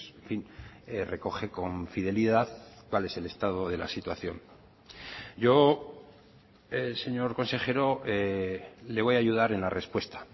en fin recoge con fidelidad cuál es el estado de la situación yo señor consejero le voy a ayudar en la respuesta